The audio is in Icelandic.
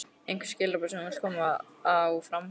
Einhver skilaboð sem þú vilt koma á framfæri?